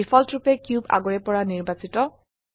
ডিফল্টৰুপে cube আগৰে পৰা নিৰ্বাচিত